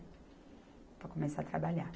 Para começar a trabalhar.